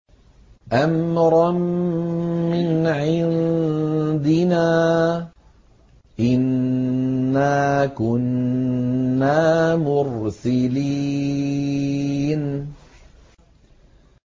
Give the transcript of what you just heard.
أَمْرًا مِّنْ عِندِنَا ۚ إِنَّا كُنَّا مُرْسِلِينَ